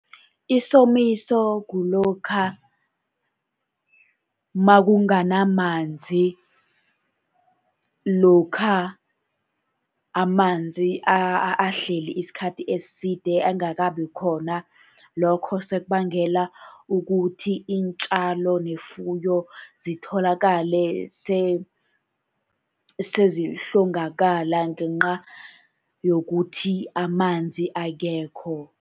Isomiso kulokha nakunganamanzi, lokha amanzi ahleli isikhathi eside angakabi khona. Lokho sekubangela ukuthi iintjalo nefuyo zitholakale sezihlongakala ngenca yokuthi amanzi akekho.